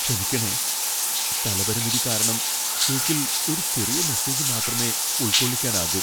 ക്ഷമിക്കണേ, സ്ഥലപരിമിതി കാരണം കേക്കിൽ ഒരു ചെറിയ മെസ്സേജ് മാത്രമേ ഉൾക്കൊള്ളിക്കാനാകൂ.